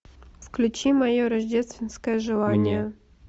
включи мое рождественское желание